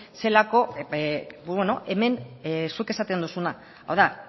zelako hemen zuk esaten duzuna hau da